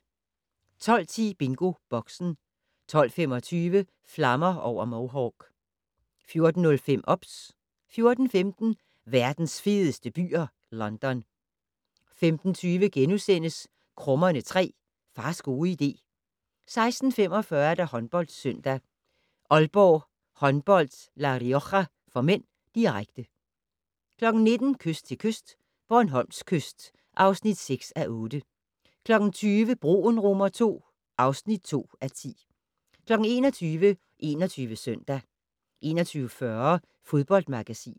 12:10: BingoBoxen 12:25: Flammer over Mohawk 14:05: OBS 14:15: Verdens fedeste byer - London 15:20: Krummerne 3: Fars gode idé * 16:45: HåndboldSøndag: Aalborg Håndbold-La Rioja (m), direkte 19:00: Kyst til kyst - Bornholms kyst (6:8) 20:00: Broen II (2:10) 21:00: 21 Søndag 21:40: Fodboldmagasinet